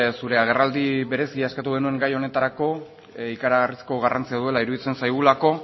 zure agerraldi berezia eskatu genuela gai honetarako ikaragarrizko garrantzia duela iruditzen zaigulako